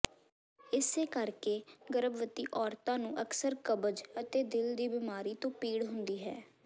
ਇਸੇ ਕਰਕੇ ਗਰਭਵਤੀ ਔਰਤਾਂ ਨੂੰ ਅਕਸਰ ਕਬਜ਼ ਅਤੇ ਦਿਲ ਦੀ ਬਿਮਾਰੀ ਤੋਂ ਪੀੜ ਹੁੰਦੀ ਹੈ